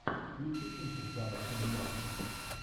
включи кинчик жанр анимация